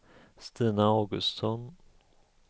Stina Augustsson